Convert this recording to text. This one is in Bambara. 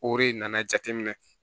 O de nana jateminɛ